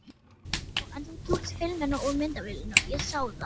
Já, en þú tókst filmuna úr myndavélinni, ég sá það!